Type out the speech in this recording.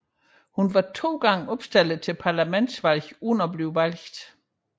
Hun var to gange opstillet til parlamentsvalg uden at blive valgt